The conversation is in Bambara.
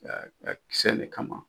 Ka ka kisɛ in ne kama.